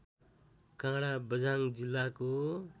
काडाँ बझाङ जिल्लाको